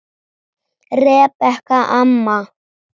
Rebekka amma.